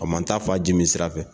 A ma taa fa jimi sira fɛ.